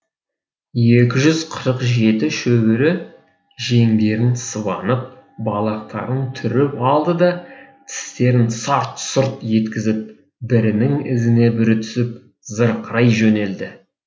екі жүз қырық жеті шөбере жеңдерін сыбанып балақтарын түріп алды да тістерін сарт сұрт еткізіп бірінің ізіне бірі түсіп зырқырай жөнелді